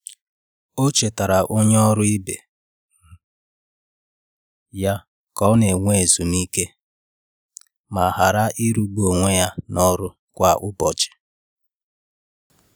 O chetaara onye ọrụ ibe um ya ka ọ n'enwe ezumike ma ghara ịrụ gbu onwe ya na ọrụ kwa ụbọchị.